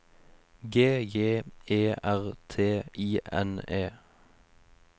G J E R T I N E